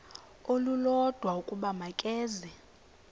olulodwa ukuba makeze